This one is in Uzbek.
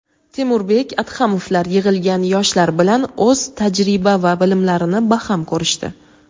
Temurbek Adhamovlar yig‘ilgan yoshlar bilan o‘z tajriba va bilimlarini baham ko‘rishdi.